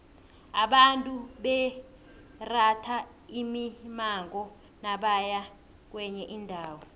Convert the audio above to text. abantu bebaratha imimango nabaya kwenye indawo